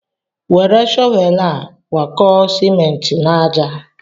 Were shọvel a gwakọọ simenti n'àjà.